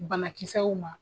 Banakisɛw ma.